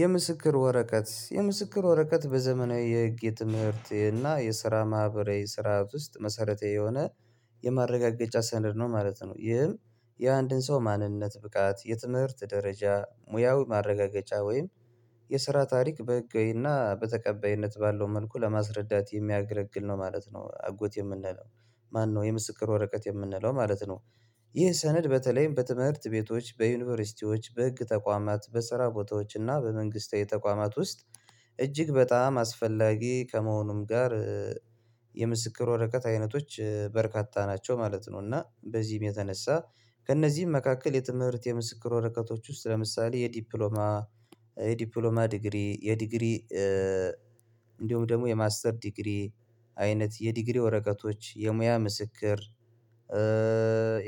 የምስክር ወረቀት የምስክር ወረቀት በዘመናዊ የህግ የትምህርት እና የስራ ማህበራዊ ስራ ውስጥ መሰረት የሆነ የማረጋገጫ ሰነድ ነው ማለት ነው። ይህም የአንድን ሰው ማንነት ብቃት የትምህርት ደረጃ ሙያዊ ማረጋገጫ ወይም የስራ ታሪክ በህጋዊና በተቀበይነት ባለው መልኩ ለማስረዳት የሚያገለግል ነው ማለት ነው። አጎት የምንለው ማነው የምስክር ወረቀት የምንለው ማለት ነው? ይህ ሰነድ በተለይም በትምህርት ቤቶች በዩኒቨርሲቲዎች በህግ ተቋማት በስራ ቦታዎች እና በመንግስታዊ ተቋማት ውስጥ እጅግ በጣም አስፈላጊ ከመሆኑም ጋር የምስክር ወረቀት አይነቶች በርካታ ናቸው ማለት ነው። እና በዚህም የተነሳ ከእነዚህም መካከል የትምህርት የምስክር ወረቀቶች ውስጥ ለምሳሌ የዲፕሎማ የዲፕሎማ ዲግሪ የዲግሪ እንዲሁም ደግሞ የማስተር ዲግሪ አይነት የዲግሪ ወረቀቶች የሙያ ምስክር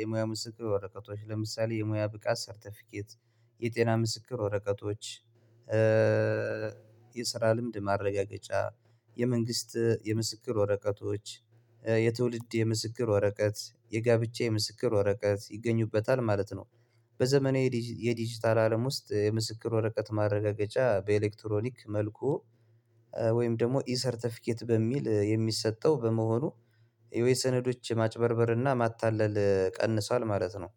የሙያ ምስክር ወረቀቶች ለምሳሌ የሙያ ብቃት ሰርተፊኬት የጤና ምስክር ወረቀቶች የስራ ልምድ ማረጋገጫ የመንግስት የምስክር ወረቀቶች የትውልድ የምስክር ወረቀት የጋብቻ የምስክር ወረቀት ይገኙበታል ማለት ነው። በዘመነ የዲጂታል አለም ውስጥ የምስክር ወረቀት ማረጋገጫ በኤሌክትሮኒክ መልኩ ወይም ደግሞ ኢ ሰርተፊኬት በሚል የሚሰጠው በመሆኑ የወይ ሰነዶች ማጭበርበርና ማታለል ቀንሷል ማለት ነው።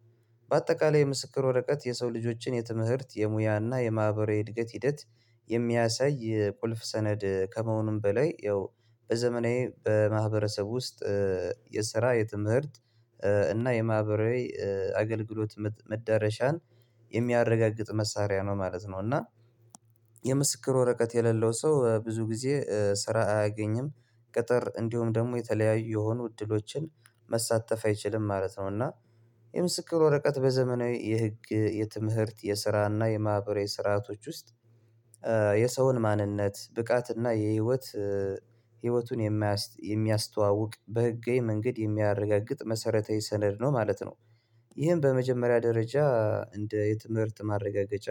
በአጠቃላይ የምስክር ወረቀት የሰው ልጆችን የትምህርት የሙያና የማህበራዊ እድገት ሂደት የሚያሳይ ቁልፍ ሰነድ ከመሆኑም በላይ ያው በዘመናዊ በማህበረሰብ ውስጥ የስራ የትምህርት እና የማህበራዊ አገልግሎት መዳረሻን የሚያረጋግጥ መሳሪያ ነው ማለት ነው። እና የምስክር ወረቀት የሌለው ሰው ብዙ ጊዜ ስራ አያገኝም ቅጥር እንዲሁም ደግሞ የተለያዩ የሆኑ እድሎችን መሳተፍ አይችልም ማለት ነው። እና የምስክር ወረቀት በዘመናዊ የህግ የትምህርት የስራ እና የማህበሬ ስርአቶች ውስጥ የሰውን ማንነት ብቃት እና የህይወት ህይወቱን የሚያስተዋውቅ በህጋዊ መንገድ የሚያረጋግጥ መሰረታዊ ሰነድ ነው ማለት ነው። ይህን በመጀመሪያ ደረጃ እንደ የትምህርት ማረጋገጫ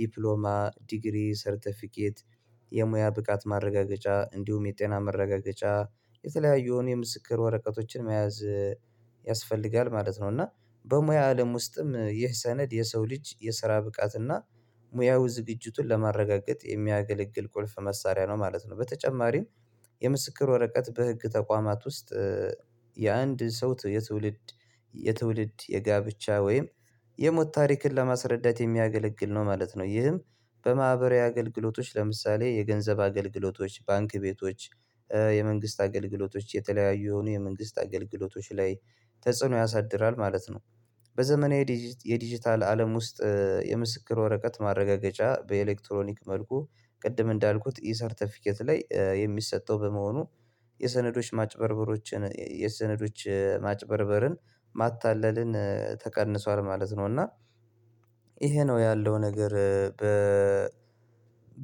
ዲፕሎማ ዲግሪ ሰርተፊኬት የሙያ ብቃት ማረጋገጫ እንዲሁም የጤና መረጋገጫ የተለያየውን የምስክር ወረቀቶችን መያዝ ያስፈልጋል ማለት ነው። እና በሙያ አለም ውስጥም ይህ ሰነድ የሰው ልጅ የስራ ብቃት እና ሙያው ዝግጅቱን ለማረጋገጥ የሚያገለግል ቁልፍ መሳሪያ ነው ማለት ነው። በተጨማሪም የምስክር ወረቀት በህግ ተቋማት ውስጥ የአንድ ሰው የትውልድ የትውልድ የጋብቻ ወይም የሞት ታሪክን ለማስረዳት የሚያገለግል ነው ማለት ነው። ይህም በማህበራዊ አገልግሎቶች ለምሳሌ የገንዘብ አገልግሎቶች ባንክ ቤቶች የመንግስት አገልግሎቶች የተለያዩ የሆኑ የመንግስት አገልግሎቶች ላይ ተጽዕኖ ያሳድራል ማለት ነው። በዘመናዊ የዲጂታል አለም ውስጥ የምስክር ወረቀት ማረጋገጫ በኤሌክትሮኒክ መልኩ ቅድም እንዳልኩት ኢ ሰርተፊኬት ላይ የሚሰጠው በመሆኑ የሰነዶች ማጭበርበሮችን የሰነዶች ማጭበርበርን ማታለልን ተቀንሷል ማለት ነው። እና ይሄ ነው ያለው ነገር በ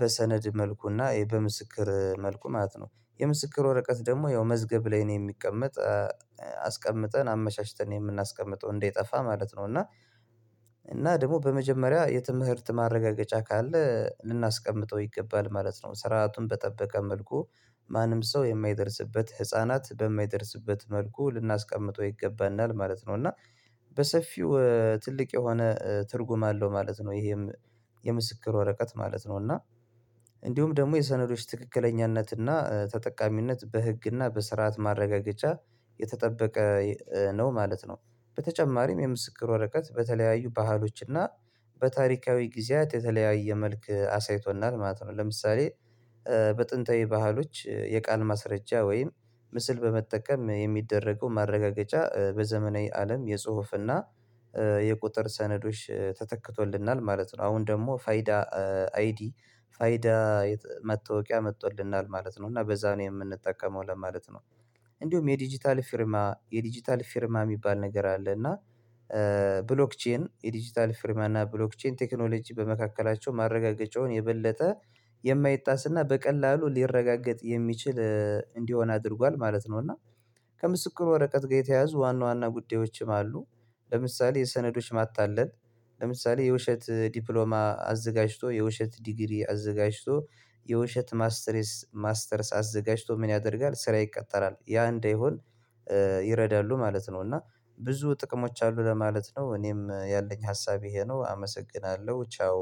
በሰነድ መልኩና ይሄ በምስክር መልኩ ማለት ነው የምስክር ወረቀት ደግሞ ያው መዝገብ ላይ ነው የሚቀመጥ አስቀምጠን አመቻችተን ነው የምናስቀምጠው እንደጠፋ ማለት ነው። እና እና ደግሞ በመጀመሪያ የትምህርት ማረጋገጫ ካለ ልናስቀምጠው ይገባል ማለት ነው ስራውን በጠበቀ መልኩ ማንም ሰው የማይደርስበት ህፃናት በማይደርስበት መልኩ ልናስቀምጠው ይገባናል ማለት ነው። እና በሰፊው ትልቅ የሆነ ትርጉም አለው ማለት ነው። ይሄም የምስክር ወረቀት ማለት ነው እና እንዲሁም ደግሞ የሰነዶች ትክክለኛነት እና ተጠቃሚነት በህግ እና በስርዓት ማረጋገጫ የተጠበቀ ነው ማለት ነው። በተጨማሪም የምስክር ወረቀት በተለያዩ ባህሎች እና በታሪካዊ ጊዜያት የተለያየ መልክ አሳይቶናል ማለት ነው። ለምሳሌ በጥንታዊ ባህሎች የቃል ማስረጃ ወይም ምስል በመጠቀም የሚደረገው ማረጋገጫ በዘመናዊ አለም የጽሁፍና የቁጥር ሰነዶች ተተክቶልናል ማለት ነው። አሁን ደግሞ ፋይዳ አይዲ ፋይዳ መታወቂያ መቶልናል ማለት ነው እና በዛ ነው የምንጠቀመው ለማለት ነው። እንዲሁም የዲጂታል ፊርማ የዲጂታል ፊርማ የሚባል ነገር አለ እና ብሎክቼን የዲጂታል ፊርሚያ እና ብሎክቼን ቴክኖሎጂ በመካከላቸው ማረጋገጫውን የበለጠ የማይጣስና በቀላሉ ሊረጋገጥ የሚችል እንዲሆን አድርጓል ማለት ነው። እና ከምስክር ወረቀት ጋር የተያዙ ዋና ዋና ጉዳዮችም አሉ። ለምሳሌ የሰነዶች ማታለል ለምሳሌ የውሸት ዲፕሎማ አዘጋጅቶ የውሸት ዲግሪ አዘጋጅቶ የውሸት ማስተርስ ማስተርስ አዘጋጅቶ ምን ያደርጋል ስራ ይቀጠራል ያ እንደሆነ ይረዳሉ ማለት ነው? እና ብዙ ጥቅሞች አሉ ለማለት ነው። እኔም ያለኝ ሀሳብ ይሄ ነው አመሰግናለሁ ቻው